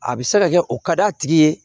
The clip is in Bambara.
A bɛ se ka kɛ o ka d'a tigi ye